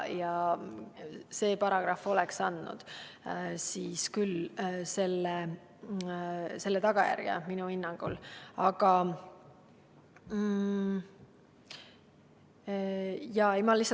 See paragrahv oleks minu hinnangul andnud võimaluse tuua kaasa selle tagajärje.